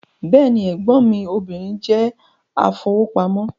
Bẹ́ẹ̀ni, ẹ̀gbọ́n mí obìnrin jẹ́ afowópamọ́